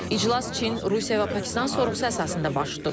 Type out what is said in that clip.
İclas Çin, Rusiya və Pakistan sorğusu əsasında baş tutub.